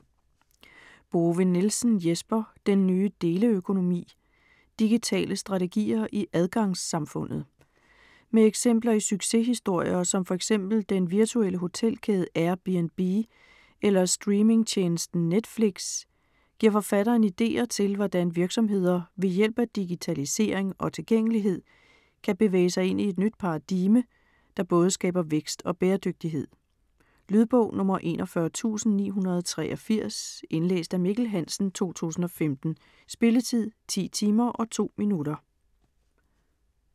Bove-Nielsen, Jesper: Den nye deleøkonomi: digitale strategier i adgangssamfundet Med eksempler i succeshistorier som fx den virtuelle hotelkæde Airbnb eller streaming-tjenesten Netflix giver forfatteren ideer til hvordan virksomheder ved hjælp af digitalisering og tilgængelighed kan bevæge sig ind i et nyt paradigme , der både skaber vækst og bæredygtighed. Lydbog 41983 Indlæst af Mikkel Hansen, 2015. Spilletid: 10 timer, 2 minutter.